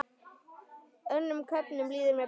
Önnum köfnum líður mér best.